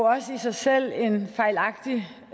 også i sig selv en fejlagtig